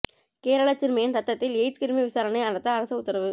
கேரள சிறுமியின் ரத்தத்தில் எய்ட்ஸ் கிருமி விசாரணை நடத்த அரசு உத்தரவு